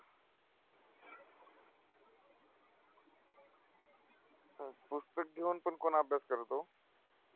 पुस्तक घेऊन पण कोण अभ्यास करत ओ,